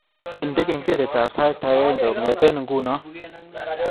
Indene kengeletab sait agenge kongete nguno